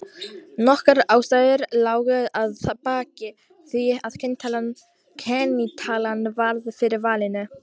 Nokkrar ástæður lágu að baki því að kennitalan varð fyrir valinu.